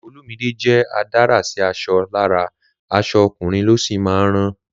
Olumide jẹ́ adárà àrà sí aṣọ ní ara, aṣọ ọkùnrin ló sì máa ń rán